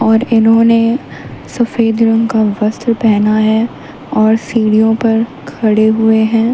और इन्होंने सफेद रंग का वस्त्र पहना है और सीढ़ियों पर खड़े हुए हैं।